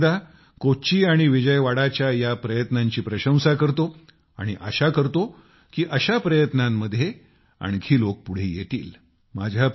मी पुन्हा एकदा कोच्चि आणि विजयवाड़ाच्या या प्रयत्नांची प्रशंसा करतो आणि आशा करतो की अशा प्रयत्नांमध्ये आणखी लोक पुढे येतील